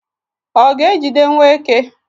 ọ ga-ejidewo eke?